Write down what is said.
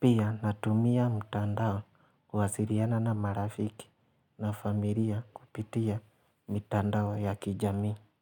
Pia natumia mtandao kuwasiliana na marafiki na familia kupitia mitandao ya kijamii.